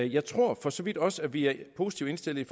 jeg tror for så vidt også at vi er positivt indstillet